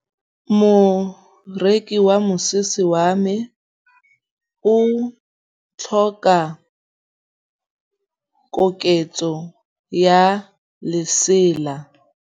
Moroki wa mosese wa me o tlhoka koketsô ya lesela.